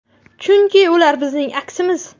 Chunki ular bizning aksimiz.